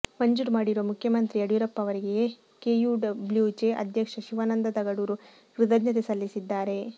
ಮಂಜೂರು ಮಾಡಿರುವ ಮುಖ್ಯಮಂತ್ರಿ ಯಡಿಯೂರಪ್ಪ ಅವರಿಗೆ ಕೆಯುಡಬ್ಲ್ಯೂಜೆ ಅಧ್ಯಕ್ಷ ಶಿವಾನಂದ ತಗಡೂರು ಕೃತಜ್ಞತೆ ಸಲ್ಲಿಸಿದ್ದಾರೆ